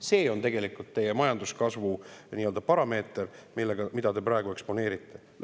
See on tegelikult teie majanduskasvu parameeter, mida te praegu eksponeerite.